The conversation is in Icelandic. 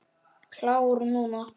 Klár núna.